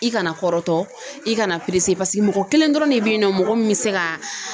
I kana kɔrɔtɔ i kana paseke mɔgɔ kelen dɔrɔn de bɛ yen nɔ mɔgɔ min bɛ se ka